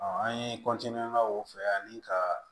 an ye o fɛ ani ka